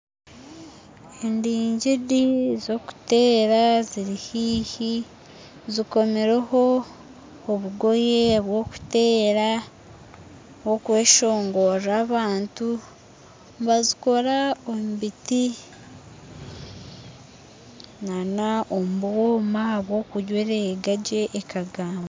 Endigiri z'okuteera ziri haihi zikomireho obugoye bw'okuteera bw'okweshongorera abantu nibazikora omu biti n'omu bwoma bw'okuzirenga gye ekagamba